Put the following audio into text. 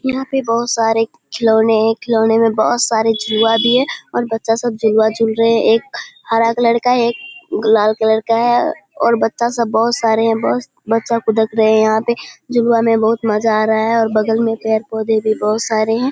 यहाँ पे बहुत सरे खिलौने है खिलौने में बहुत सारा झुलुवा भी हैं और बच्चा सब झुलवा झूल रहे हैं एक हरा कलर का एक गुलाल कलर का है और बच्चा सब बहुत सरे हैं बच्चा सब बहुत फुदक रहे हैं यहाँ पर झुलवा में बहुत मजा आ रहा है और बगल पेड़ पौधे भी बहोत सरे हैं।